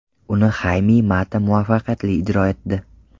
Uni Hayme Mata muvaffaqiyatli ijro etdi.